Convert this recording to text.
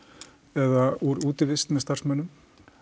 eða úr útivist með starfsmönnum